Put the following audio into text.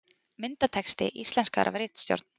Myndatexti íslenskaður af ritstjórn.